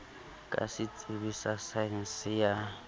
ka setsebi sa saense ya